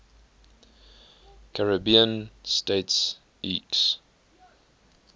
caribbean states oecs